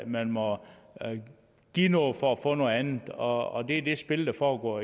man må give noget for at få noget andet og det er det spil der foregår